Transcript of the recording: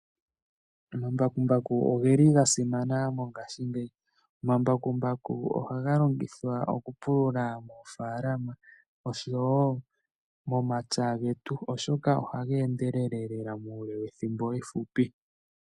Omambakumbaku ogeli gasimana mongashingeyi. Omambakumbaku ohaga longithwa okupulula moofaalama oshowo momapya getu oshoka ohaga endelele lela muule wethimbo efupi.